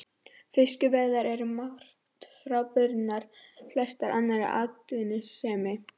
Fiskveiðar eru um margt frábrugðnar flestri annarri atvinnustarfsemi.